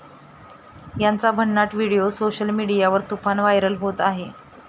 त्यांचा भन्नट video social मीडियावर तुफान व्हायरल होत आहे.